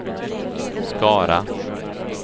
Skara